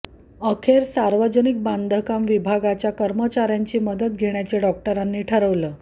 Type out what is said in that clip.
अखेर सार्वजनिक बांधकाम विभागाच्या कर्मचाऱ्यांची मदत घेण्याचे डाॅक्टरांनी ठरवलं